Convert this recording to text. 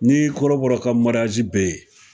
Ni kɔrɔbɔrɔ ka bɛ yen